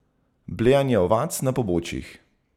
Blejanje ovac na pobočjih.